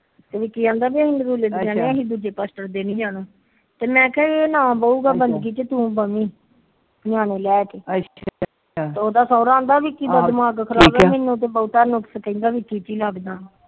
ਇਹ ਦੂਜੇ ਪਾਸਟਰ ਦੇ ਨੀ ਜਾਣਾ ਤੇ ਮੈ ਕਿਹਾ ਇਹ ਨਾ ਬਹੁਗਾ ਬੰਦਗੀ ਚ ਤੂੰ ਬਹਿ ਜਾਵੀ ਨਿਆਣੇ ਲੈਕੇ ਉਹਦਾ ਸੋਹਰਾ ਕਹਿੰਦਾ ਠੀਕ ਈ ਲੱਗਦਾ